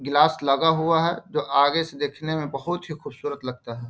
Glass लगा हुआ है जो आगे से देखने में बहुत ही खूबसूरत लगता है।